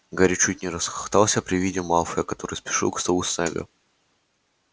гарри чуть не расхохотался при виде малфоя который спешил к столу снегга